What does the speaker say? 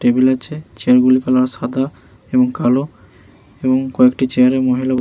table আছে এবং table এর কালার সাদা এবং কালো এবং কয়েকটি চেয়ার এ মহিলা --